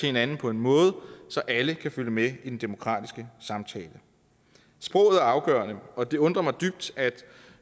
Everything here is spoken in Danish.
hinanden på en måde så alle kan følge med i den demokratiske samtale sproget er afgørende og det undrer mig dybt at